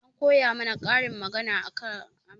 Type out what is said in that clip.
An koya mana karin magana a makaranta